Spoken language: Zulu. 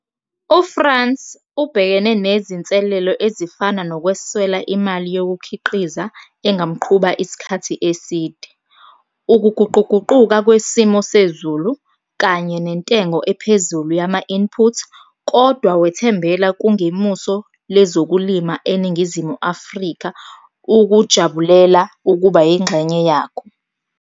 UFrans ubhekene nezinselelo ezifana nokweswela imali yokukhiqiza engamqhuba isikhathi eside, ukuguquguquka kwesimo sezulu, kanye nentengo ephezulu yama-input, kodwa wethembela kungemuso lezokulima eNingizimu Afrika ukujabulela ukuba yengxenye yako.